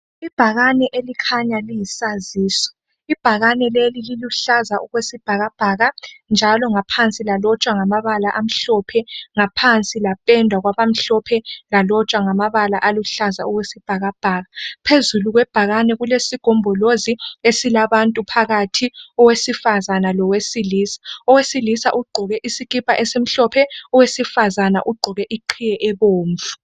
Ibhakane elikhanya liyisaziso, ibhakane leli liluhlaza okwesibhakabhaka njalo ngaphansi lalotshwa ngamabala amhlophe, ngaphansi lapendwa kwabamhlophe lalotshwa ngamabala aluhlaza okwesibhakabhaka . Phezulu kwebhakane kulesigombolozi esilabantu phakathi, owesifazana lowesilisa, owesilisa ugqoke isikipa esimhlophe owesifazana ugqoke iqhiye ebomvu.